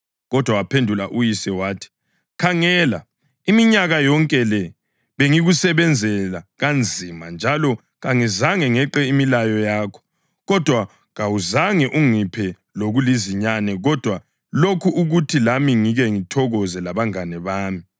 Kodwa waphendula uyise wathi, ‘Khangela! Iminyaka yonke le bengikusebenzela kanzima njalo kangizange ngeqe imilayo yakho. Kodwa kawuzange ungiphe lokulizinyane kodwa lokhu ukuthi lami kengithokoze labangane bami.